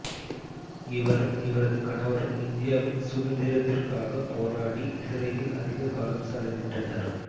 இவரும் இவரது கணவரும் இந்தியாவின் சுதந்திரத்திற்காக போராடி சிறையில் அதிக காலம் செலவிட்டனர்